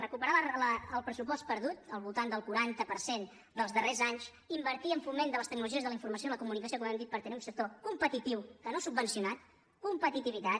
recuperar el pressupost perdut al voltant del quaranta per cent dels darrers anys invertir en foment de les tecnologies de la informació i la comunicació com hem dit per tenir un sector competitiu que no subvencionat competitivitat